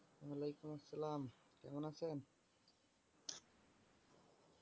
ওয়ালিকুম আসসালাম। কেমন আছেন?